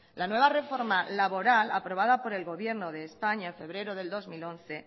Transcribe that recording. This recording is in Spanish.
la nueva reforma laboral aprobada por el gobierno de españa en febrero de dos mil once